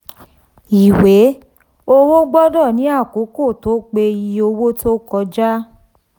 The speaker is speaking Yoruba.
ìwé owó gbọdọ ní àkókò tó pé iye owó tó kọjá.